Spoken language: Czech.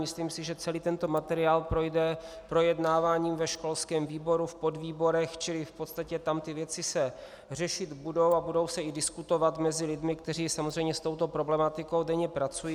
Myslím si, že celý tento materiál projde projednáváním ve školském výboru, v podvýborech, čili v podstatě tam ty věci se řešit budou a budou se i diskutovat mezi lidmi, kteří samozřejmě s touto problematikou denně pracují.